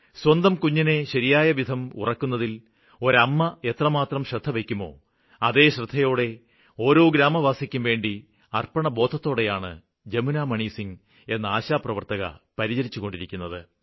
സ്വന്തം കുഞ്ഞിനെ ശരിയാംവിധം ഉറക്കുന്നതില് ഒരമ്മ എത്രമാത്രം ശ്രദ്ധവയ്ക്കുമോ അതേ ശ്രദ്ധയോടെ ഓരോ ഗ്രാമവാസിക്കുംവേണ്ടി അര്പ്പണബോധത്തോടെയാണ് ജമുനാമണിസിംഗ് എന്ന ആശാപ്രവര്ത്തക പരിചരിച്ചുകൊണ്ടിരുന്നത്